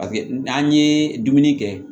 an ye dumuni kɛ